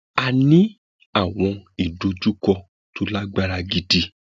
a ní àwọn ìdojúkọ tó lágbára gidi